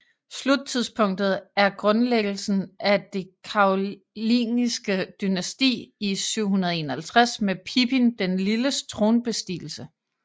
Sluttidspunktet er grundlæggelsen af det karolingiske dynasti i 751 med Pippin den Lilles tronbestigelse